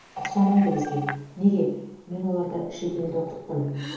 ұқсамайды бізге неге мен оларды шетелде оқыттым